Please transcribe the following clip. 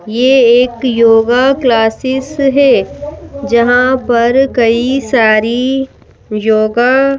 यह एक yoga classes है जहां पर कई सारीयोगा--